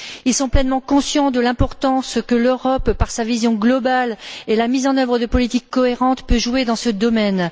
Ils sont pleinement conscients de l'importance que l'Europe, par sa vision globale et la mise en œuvre de politiques cohérentes, peut avoir dans ce domaine.